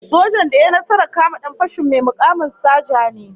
Sojan da ya yi nasarar kama dan fashin, mai mukamin saja ne